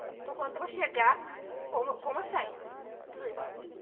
Estou contando para chegar, como como eu saí.